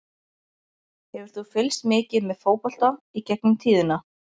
Hefur þú fylgst mikið með fótbolta í gegnum tíðina?